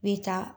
I bɛ taa